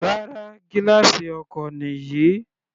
Rárá, gílààsì ọkọ̀ nìyí.